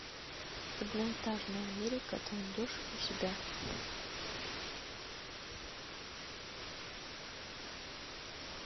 одноэтажная америка ты найдешь у себя